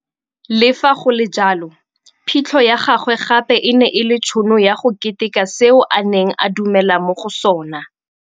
Le fa go le jalo, phitlho ya gagwe gape e ne e le tšhono ya go keteka seo a neng a dumela mo go sona.